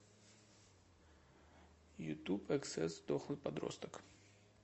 ютуб эксес дохлый подросток